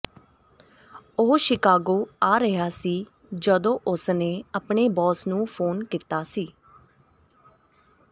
ਉਹ ਸ਼ਿਕਾਗੋ ਆ ਰਿਹਾ ਸੀ ਜਦੋਂ ਉਸ ਨੇ ਆਪਣੇ ਬੌਸ ਨੂੰ ਫੋਨ ਕੀਤਾ ਸੀ